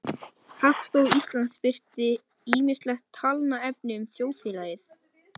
Ofþornun getur bæði komið til vegna ónógrar vatnsdrykkju og vegna mikils vökvataps.